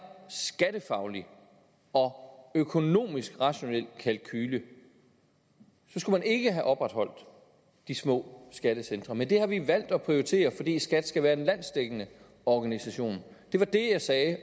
skattefaglig og økonomisk rationel kalkule skulle man ikke have opretholdt de små skattecentre men det har vi valgt at prioritere fordi skat skal være en landsdækkende organisation det var det jeg sagde